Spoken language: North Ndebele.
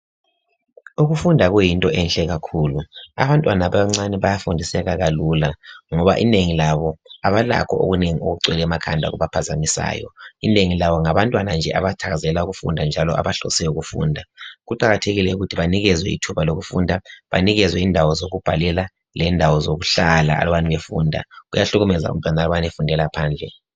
Ukufunda kuyinto enhle kakhulu. Abantwana abancane bayafundiseka kalula, ngoba inengi labo kabalakho okunengi okugcwele emakhanda okubaphazamisayo. lnengi labo ngabantwana nje abathakazelela ukufunda, njalo abahlose ukufunda. Kuqakathekile ukuthi banikezwe ithuba lokufunda Banikezwe indawo zokubhalela lendawo zokuhlala alubana befunda. Kuyahlukumeza abantwana uma befundela phandle.